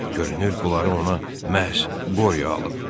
Görünür bunları ona məhz Qoryo alıb.